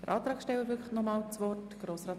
Der Antragsteller hat noch einmal das Wort.